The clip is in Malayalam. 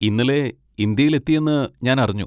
ഇന്നലെ ഇന്ത്യയിൽ എത്തിയെന്ന് ഞാൻ അറിഞ്ഞു.